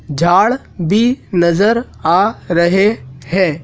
झाड़ भी नजर आ रहे हैं।